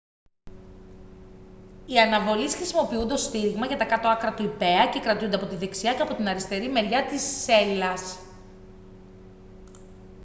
οι αναβολείς χρησιμοποιούνται ως στήριγμα για τα κάτω άκρα του ιππέα και κρατιούνται από την δεξιά και από την αριστερή μεριά της σέλας